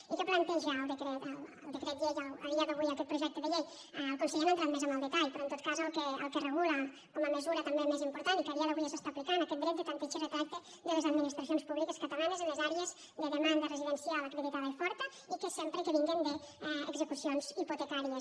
i què planteja a dia d’avui aquest projecte de llei el conseller ha entrat més en el detall però en tot cas el que regula com a mesura també més important i que a dia d’avui ja s’aplica és aquest dret de tanteig i retracte de les administracions públiques catalanes en les àrees de demanda residencial acreditada i forta i sempre que vinguen d’execucions hipotecàries